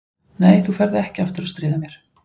Nei, þú ferð ekki aftur að stríða mér.